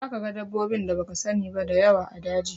Za ka ga dabbobin da baka sani ba da yawa a daji